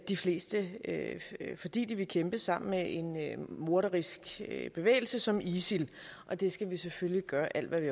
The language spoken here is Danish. de fleste fordi de vil kæmpe sammen med en morderisk bevægelse som isil og det skal vi selvfølgelig gøre alt hvad vi